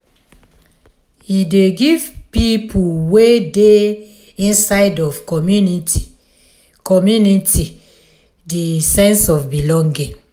e dey give pipo wey dey inside di community community di sense of belonging